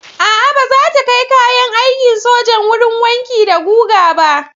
A'a, ba za ta kai kayan aikin sojan wurin wanki da guga ba.